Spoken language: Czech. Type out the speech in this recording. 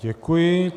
Děkuji.